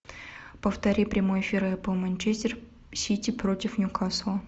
повтори прямой эфир апл манчестер сити против ньюкасла